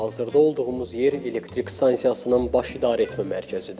Hazırda olduğumuz yer elektrik stansiyasının baş idarəetmə mərkəzidir.